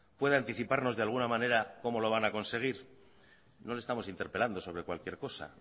puede anticiparnos de alguna manera cómo lo van a conseguir no le estamos interpelando sobre cualquier cosa